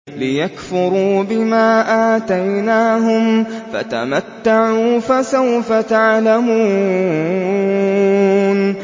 لِيَكْفُرُوا بِمَا آتَيْنَاهُمْ ۚ فَتَمَتَّعُوا ۖ فَسَوْفَ تَعْلَمُونَ